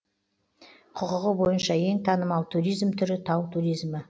құқығы бойынша ең танымал туризм түрі тау туризмі